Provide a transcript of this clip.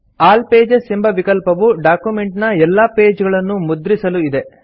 all pages ಎಂಬ ವಿಕಲ್ಪವು document ನ ಎಲ್ಲಾ ಪೇಜ್ ಗಳನ್ನು ಮುದ್ರಿಸಲು ಇದೆ